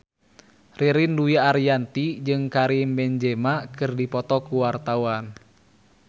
Ririn Dwi Ariyanti jeung Karim Benzema keur dipoto ku wartawan